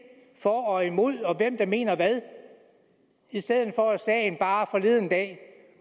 for og imod og hvem der mener hvad i stedet for at sagen forleden dag